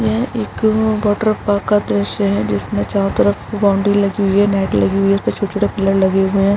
यह एक अअ वाटर पार्क का दृश्य है जिसमे चारो तरफ बाउंड्री लगी हुई है नेट लगी हुई है उसपे छोटा-छोटा पिलर लगे हुए हैं।